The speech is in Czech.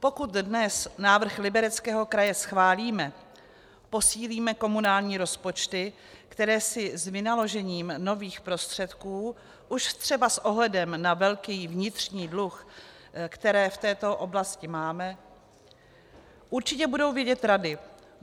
Pokud dnes návrh Libereckého kraje schválíme, posílíme komunální rozpočty, které si s vynaložením nových prostředků už třeba s ohledem na velký vnitřní dluh, který v této oblasti máme, určitě budou vědět rady.